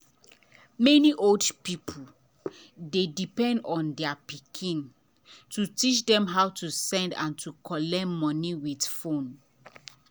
many old people dey depend on their pikin to teach dem how to send and to collect money with phone.